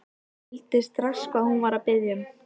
Hann skildi strax hvað hún var að biðja um.